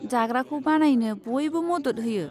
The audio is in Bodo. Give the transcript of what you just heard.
जाग्राखौ बानायनो बयबो मदद होयो।